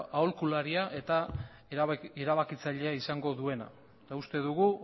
aholkularia eta erabakitzailea izango duena eta uste dugu